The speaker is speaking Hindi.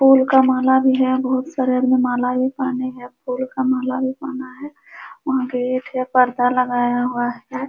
फूल का माला भी है। बहोत सारा माला भी पहने है। फूल का माला भी पहना है। वहाँ गेट है। पर्दा लगाया हुआ है।